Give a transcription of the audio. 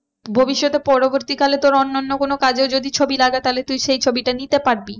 ভবিষ্যতে পরবর্তী কালে তোর অন্যান্য কোনো কাজেও যদি ছবি লাগে তাহলে তুই সেই ছবিটা নিতে পারবি।